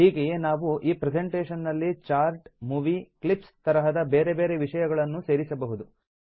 ಹೀಗೆಯೇ ನಾವು ಈ ಪ್ರೆಸೆಂಟೇಷನ್ ನಲ್ಲಿ ಚಾರ್ಟ್ಸ್ ಮೂವೀ ಕ್ಲಿಪ್ಸ್ ತರಹದ ಬೇರೆ ಬೇರೆ ವಿಷಯಗಳನ್ನೂ ಸೇರಿಸಬಹುದು